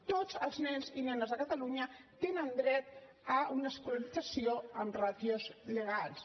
tots els nens i nenes de catalunya tenen dret a una escolarització amb ràtios legals